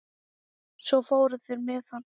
Svo fóru þeir með hann.